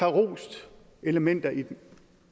rost elementer i den